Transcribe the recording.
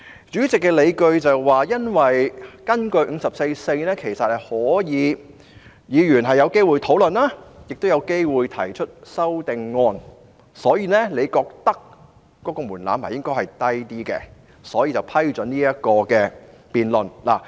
主席的理據是，根據《議事規則》第544條，其實議員是有機會進行討論，亦有機會提出修正案，他認為這個門檻應該較低，故此批准局長提出議案。